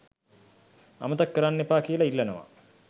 අමතක කරන්න එපා කියලා ඉල්ලනවා.